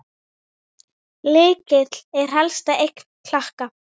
Lykill er helsta eign Klakka.